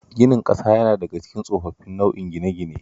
Ginin ƙasa yana daka cikin tsofaffin nau'o'in gine-gine